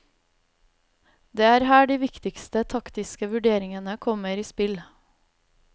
Det er her de viktigste taktiske vurderingene kommer i spill.